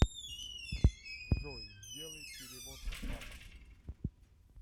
джой сделай перевод папа